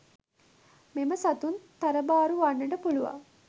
මෙම සතුන් තරබාරු වන්නට පුළුවන්.